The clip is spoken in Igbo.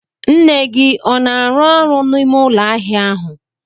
Nne gị ọ na arụ ọrụ n'ime ụlọ ahịa ahụ?